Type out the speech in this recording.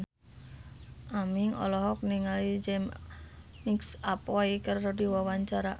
Aming olohok ningali James McAvoy keur diwawancara